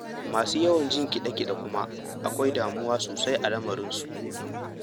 Masu yawan jin kiɗe-kiɗe kuwa, akwai damuwa sosai a lamarinsu.